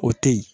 O teyi